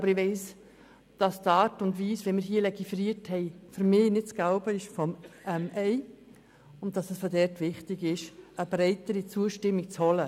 Aber ich weiss, dass die Art und Weise, wie wir hier legiferiert haben, für mich nicht das Gelbe vom Ei ist, und dass es wichtig ist, eine breitere Zustimmung zu holen.